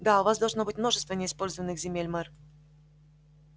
да у вас должно быть множество неиспользованных земель мэр